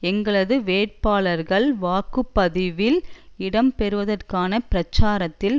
எங்களது வேட்பாளர்கள் வாக்கு பதிவில் இடம் பெறுவதற்கான பிரச்சாரத்தில்